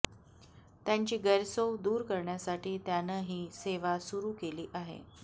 त्यांची गैरसोय दूर करण्यासाठी त्यानं ही सेवा सुरू केली आहे